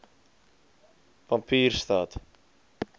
pampierstad